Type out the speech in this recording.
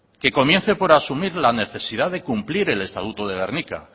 que comience por asumir la necesidad de cumplir el estatuto de gernika